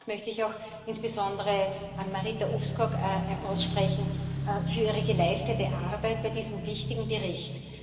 Dank möchte ich auch insbesondere Marita Ulvskog aussprechen für ihre geleistete Arbeit bei diesem wichtigen Bericht.